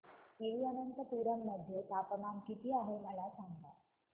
तिरूअनंतपुरम मध्ये तापमान किती आहे मला सांगा